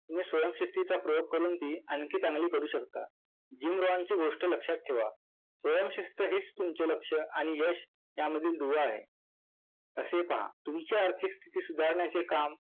तुम्ही स्वयंशिस्तीचा प्रयोग करून ती आणखी चांगली करू शकता. JimRoyal ची गोष्ट लक्षात ठेवा. स्वयंशिस्त हीच तुमचे लक्ष आणि यश यामधील दुवा आहे असे पहा.